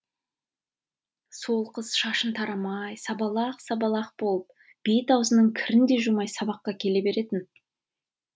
сол қыз шашын тарамай сабалақ сабалақ болып бет аузының кірін де жумай сабаққа келе беретін